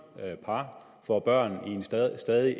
par får børn i en stadig stadig